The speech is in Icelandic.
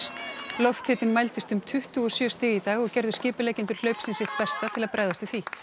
lofthitinn mældist um tuttugu og sjö stig í dag og gerðu skipuleggjendur hlaupsins sitt besta til að bregðast við því